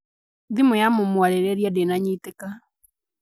Thimo ya mũmwarĩrĩtia ndĩnanyitĩka